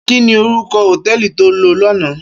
Kini órúkò hótèlí tó lò làná?